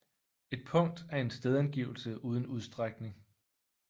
Et punkt er en stedangivelse uden udstrækning